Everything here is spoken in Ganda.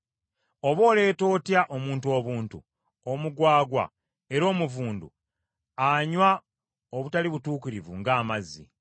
oba oleeta otya omuntu obuntu, omugwagwa era omuvundu, anywa obutali butuukirivu nga amazzi!